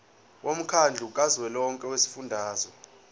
womkhandlu kazwelonke wezifundazwe